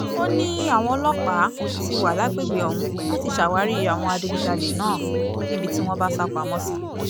ó ní àwọn ọlọ́pàá ti wà lágbègbè ọ̀hún láti ṣàwárí àwọn adigunjalè náà níbi tí wọ́n bá sá pamọ́ sí